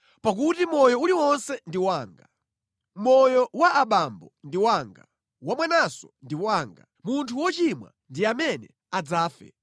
Pakuti moyo uliwonse ndi wanga. Moyo wa abambo ndi wanga, wamwananso ndi wanga. Munthu wochimwa ndi amene adzafe.